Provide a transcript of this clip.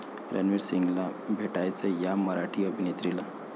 रणवीर सिंगला भेटायचंय 'या' मराठी अभिनेत्रीला!